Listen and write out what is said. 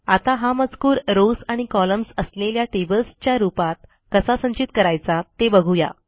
आता हा मजकूर रॉव्स आणि कॉलम्न्स असलेल्या टेबल्सच्या रूपात कसा संचित करायचा ते बघू या